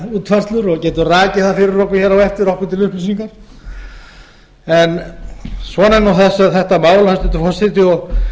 útfærslur og geta rakið þær fyrir okkur á eftir okkur til upplýsingar svona er þetta mál hæstvirtur forseti og